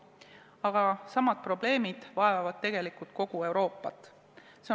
Aga samad probleemid vaevavad tegelikult kogu Euroopat.